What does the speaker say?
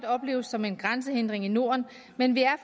opleves som en grænsehindring i norden men det er